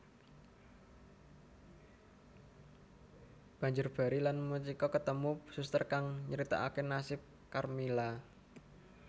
Banjur Barry lan Mitchiko ketemu suster kang nryitakake nasib Karmila